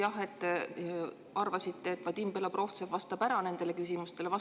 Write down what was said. Jah, te arvasite, et Vadim Belobrovtsev vastab nendele küsimustele ära.